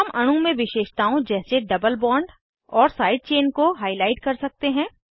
हम अणु में विशेषताओं जैसे डबल बॉन्ड और साइड चेन को हाईलाइट कर सकते हैं